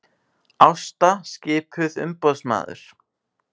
Ásta skipuð umboðsmaður